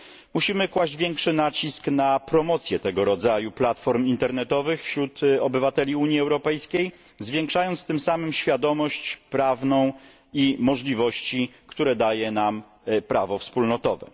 Musimy kłaść większy nacisk na promocję tego rodzaju platform internetowych wśród obywateli Unii Europejskiej, zwiększając tym samym świadomość prawną i możliwości, jakie daje nam prawo wspólnotowe.